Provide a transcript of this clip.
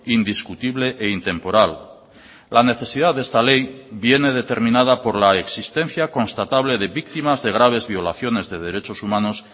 indiscutible e intemporal la necesidad de esta ley viene determinada por la existencia constatable de víctimas de graves violaciones de derechos humanos